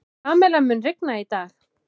Pamela, mun rigna í dag?